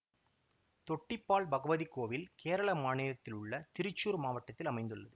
தொட்டிப்பால் பகவதி கோவில் கேரள மாநிலத்திலுள்ள திரிச்சூர் மாவட்டத்தில் அமைந்துள்ளது